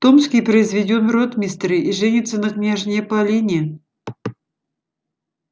томский произведён в ротмистры и женится на княжне полине